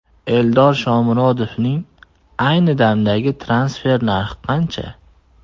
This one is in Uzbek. Eldor Shomurodovning ayni damdagi transfer narxi qancha?